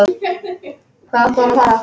Hvert átti hún að fara?